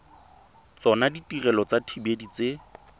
tsona ditirelo tsa dithibedi tse